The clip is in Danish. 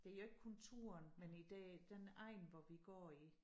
Det jo ikke kun turen men i det den egn hvor vi går i